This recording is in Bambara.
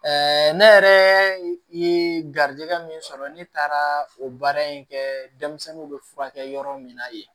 ne yɛrɛ ye garijɛgɛ min sɔrɔ ne taara o baara in kɛɛ denmisɛnninw bɛ furakɛ yɔrɔ min na yen